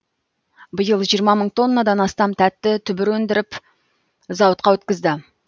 биыл жиырма мың тоннадан астам тәтті түбір өндіріп зауытқа өткізді